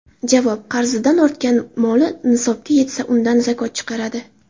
Javob: Qarzidan ortgan moli nisobga yetsa, undan zakot chiqaradi.